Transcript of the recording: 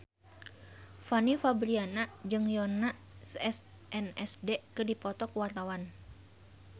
Fanny Fabriana jeung Yoona SNSD keur dipoto ku wartawan